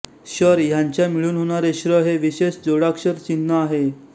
शर ह्यांच्या मिळून होणारे श्र हे विशेष जोडाक्षर चिन्ह आहे